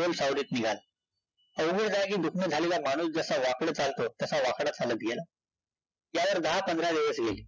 अवघड जागी दुखणं झालेला माणूस जसा वाकडं चालतो तसा वाकडा चालतं गेला त्यावर दहा-पंधरा दिवस गेले,